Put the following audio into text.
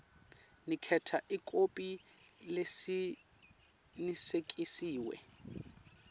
niketa ikhophi lecinisekisiwe